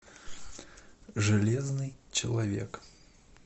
железный человек